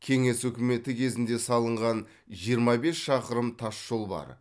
кеңес үкіметі кезінде салынған жиырма бес шақырым тас жол бар